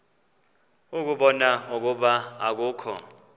ukubona ukuba akukho